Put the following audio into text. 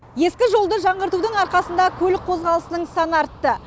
ескі жолды жаңғыртудың арқасында көлік қозғалысының саны артты